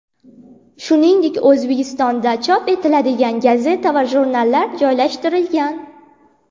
Shuningdek, O‘zbekistonda chop etiladigan gazeta va jurnallar joylashtirilgan.